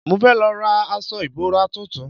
Mo fẹ́ lọ ra aṣọ ìbora tuntun